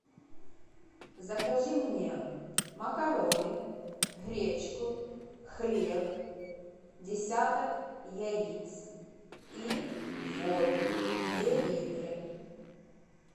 закажи мне макароны гречку хлеб десяток яиц и воду два литра